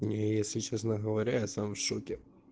не если честно говоря я сам в шоке